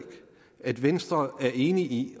at venstre er enig i